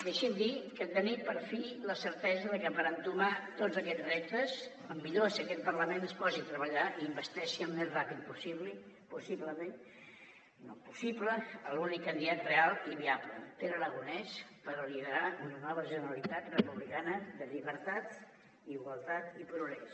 deixi’m dir que tenim per fi la certesa de que per entomar tots aquests reptes el millor és que aquest parlament es posi a treballar i investeixi el més ràpid possible l’únic candidat real i viable pere aragonès per liderar una nova generalitat republicana de llibertat igualtat i progrés